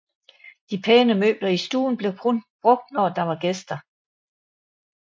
De pæne møbler i stuen blev kun brugt når der var gæster